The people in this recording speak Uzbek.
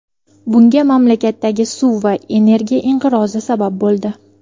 Bunga mamlakatdagi suv va energiya inqirozi sabab bo‘ldi.